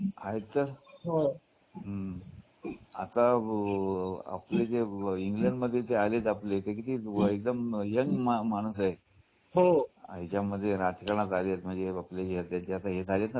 हम्म आह आता जे इंग्लंडमध्ये आपले किती एकदम यंग माणूस आहे हो यामध्ये राजकारणात आलेत म्हणजे आपली येथे झालेत ना?